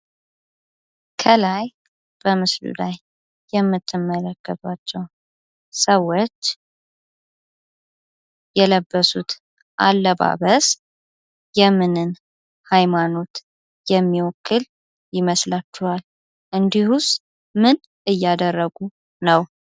ከላይ በምስሉ ላይ የምትመለከቷቸዉ ሰዎች የለበሱት አለባበስ የምንን ሀይማኖት የሚወክል ይመስላችኋል? እንዲሁስ ምን እያደረጉ ይመስላችኋል?